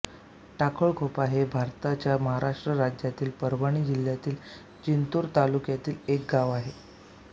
टाकळखोपा हे भारताच्या महाराष्ट्र राज्यातील परभणी जिल्ह्यातील जिंतूर तालुक्यातील एक गाव आहे